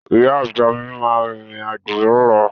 Ìyá àgbà mi máa rìnrìn àjò lọ́la.